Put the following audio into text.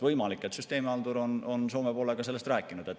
Võimalik, et süsteemihaldur on Soome poolega sellest rääkinud.